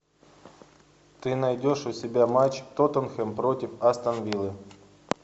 ты найдешь у себя матч тоттенхэм против астон виллы